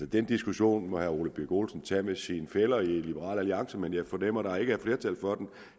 den diskussion må herre ole birk olesen tage med sine fæller i liberal alliance men jeg fornemmer at der ikke er flertal for